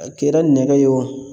A kɛra nɛgɛ ye wo